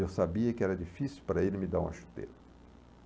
Eu sabia que era difícil para ele me dar uma chuteira.